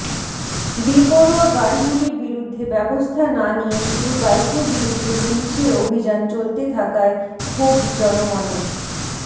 বেপরোয়া গাড়িগুলির বিরুদ্ধে ব্যাবস্থা না নিয়ে শুধু বাইকের বিরুদ্ধে পুলিশের অভিযান চলতে থাকায় ক্ষোভ জনমনে